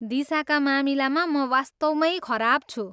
दिशाका मामिलामा म वास्तवमै खराब छु।